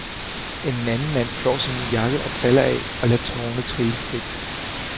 En anden mand flår sin jakke og briller af og lader tårene trille frit.